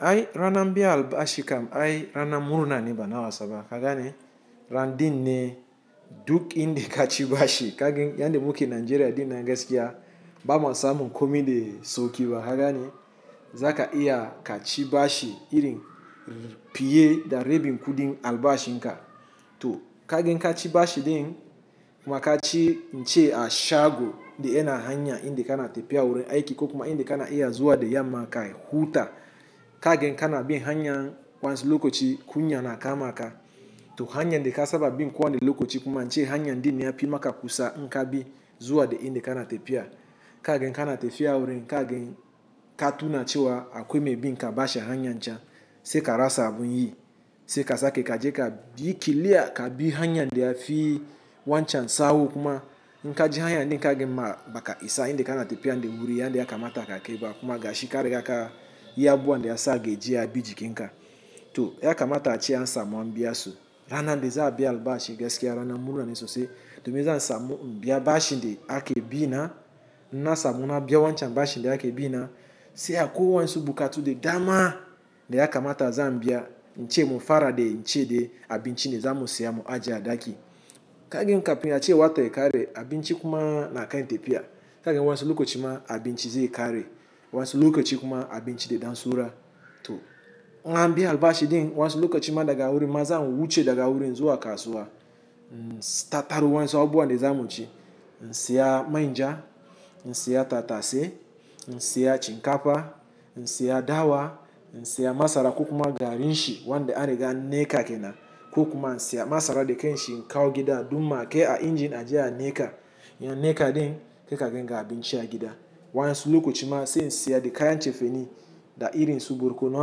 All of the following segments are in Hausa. Ai rana biayan albasi kam ai rana murna ni bana wasaba. Ka gani ran din ni duk indi ka ci bashi. Ka gin yandi muke Nigeria din na geskiya, ba ma samu komi da sauki ba. Ka gani za ka iya ka ci bashi irin fiye da rebin ku din albashinka. To ka gan ka ci bashi din ma ka ci ince a shago dayana hanya inda kana tefya wurin aike ko kuma ma inda kana iya zuwa da yamma ka huta. Ka gan kana bi hanya wan, ansiu lokoci kunya na kama ka. To hanyan dka sababi kuwa ne lokochi kuma ince hanya din yafi maka kusa inka bi zuwa de indi kana tepia. Ka gan kana tepia wurin ka gan ka tuna cewa akwai binka bashi a hanyan chan se ka rasa abun yi se ka sake ka je ka dikilia ka bi hanya indi a fi wancham sawu kuma nka ji hanya ni ka gin ma baka isa indi kana tepia ndi muri yandi ya kamata ka keba kuma ga shikari ka iya buwa ndi a sa geji a bi jiki nka. To ya kamata ace an sa mu ambiya su, rana da za a bi biya albaschi, geskiya rana murna ne sosai. Domin zan samu in biya, bashin dai ake bina, ina samu na biya wancan bashi da ake bina, sai akwai wasu buƙatu da dama, da yakamta zan biya ince dai abunci ne, zamu siya in aje a ɗaki ka gin kafin a cewan ta ya ƙare kagan abinci kuma na kai tafiya. Ka gin wansu lokochi ma abinchi ze kare wansu lokaci kuma abinci da dan sura. To in anbi albaschi din wansu lokaci ma daga wurin ma za mu wuce daga wurin zuwa kasuwa. Tataro wansu abuwa da za mu ci. Siya mainja, in siya tatase, in siya shinkafa, in ya dawa, in siya masara ko kuma garin shi wanda an riga an niƙa kenam ko kuma in siya masara da kanshi in kawo gida dum ma ke a injin aje a niƙa ya ne ka din sai ka gin ga abinci a gida. Wansu lokaci m in siya de kayan cefene da irin su burkono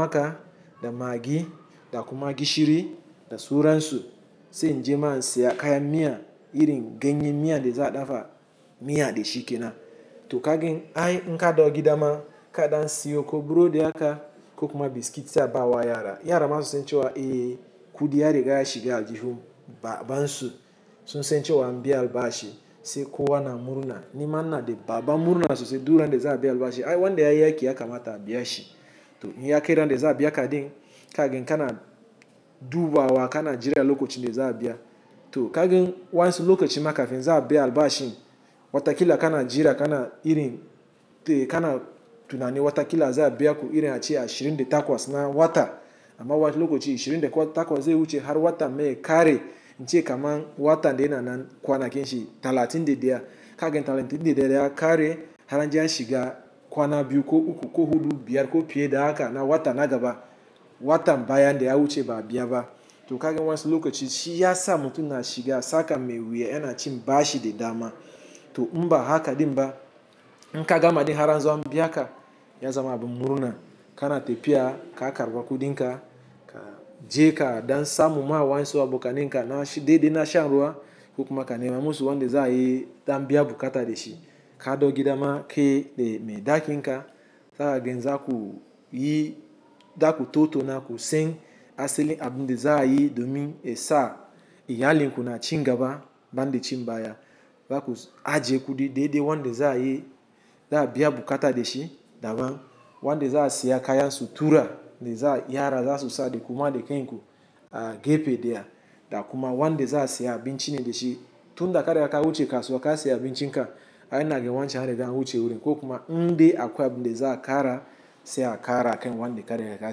aka da maggi da kuma gishiri da sura nsu se nje ma in siya kaya miya irin genye miya de za dafa miya de shi kina. To ka gin ai in ka dawo gida ma ka dan siyo ko burodi haka ko kuma biskiti a bawa yara. Yara ma su sen cewa kuɗi ya riga ya shiga aljihun ba bansu su sen cewa an biya albaschi se ko wa na murna, ni ma na de baba murna su se du ran de za a bi albaschi ai wanda ya yake ya kamata a biya shi. To iya ke ran de za a biya ka din, ka gin kana dubawa kana jira lokaci da za a biya. To ka gin wansu lokochi ma ka fin za a bi albaschi watakila kana jira kana irin te kana tunani watakila za a biya ku irin a ace ashirin de takwas na wata. Kuma wani lokacin ashirin da takwas zai wuce har watan ya ƙare, yace kaman watan may ya kare yace kaman watan nan kwanakin shi, talatin da biyar ka gan talatin de biyar ya kare har an je a shiga, kwana biyu ko uku ko hudu, biyar ko fiye da haka na wata na gaba, watan baya da ya wuce ba a biya ba. To ka gin wansu lokaci ya sa mutu na shiga tsaka mai wuya yana cin ba bashi da dama. To in ba haka ɗin ba, in ka gama ɗin har an zo an biya ka, ya za ma abun murna kana tafiya ka karɓi kudin ka. Ka je ka ɗan sa ma mu wayan su aboka nan ka na de de na shan ruwa ko kuma ka nema musu wanda za a yi ta an biya bukata de shi. Ka ɗau gida ma ke de me daki nka zaka gin za ku yi da ku toto na ku sen a seli abun de za a yi do min esa iya linku na cin gaba ban de cin baya, ba ku aje kudi daidai wanda za a yi da a biya bukata de shi daban wanda za a siya kayan su tura da za gyara za su sa da kuma da kan ku a gefe ɗaya da kuma wanda za a siya abunci ne dashi tunda ka riga ka wuce kasuwa kasiyi abuncin ka ai inaga wancan and riga and wuce gurin, ko kuma indai abunda za a ƙara sai a ƙara kan abunda za a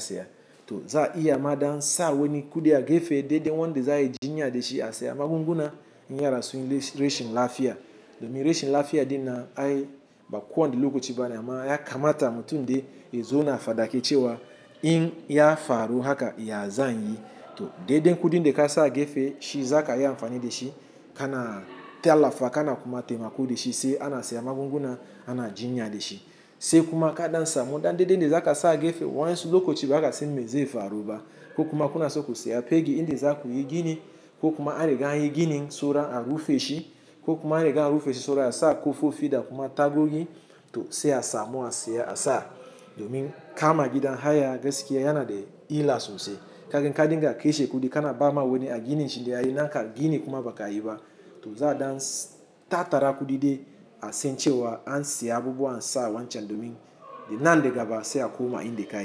siya. To za a iya ma ɗan sa wani kudi, a gefe dai-dai wanda za a ai jinya dashi asiyi magunguna in yara sunyi rashin lafiya. Domin rashin lafiya ɗin nan, ai ba kowane lokaci bane, amma yakamata ace mutum dai ya fadi cewa in ya faru haka ya zanyi? Dai-dai kudin da kasa gefe shi za kai amfani dashi kana tallafa kana kuma taimako dashi kana siyan magugun guna ana taimako dashi sai kuma ka dan samu dai dai inda zaka san me zai faru ba, ko kuma kana so ku siya fegi inda zakuyi gini ko kuma an riga anyi gini sauran an rufeshi ko kuma an riga an rufe shi saboda haka asa kofofi ko tagogi to sai asamu asiya asa, domin kama gidan haya gaskiya yana da ila sosai kagan kadinga kashe kudi kana bama wani wani wanda da yayi naka biyu ne kuma bakayi ba to kuma wanda za a siya abinchi ni de shi tun da kare aka wuce kasuwa ka siya abinchi nka ai na gin wancham are ga wuce wurin ko kuma ndi akwa abun de za a kara se a kara aka yin wanda kare aka siya.